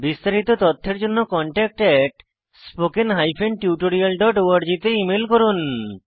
বিস্তারিত তথ্যের জন্য contactspoken tutorialorg তে ইমেল করুন